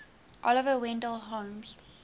oliver wendell holmes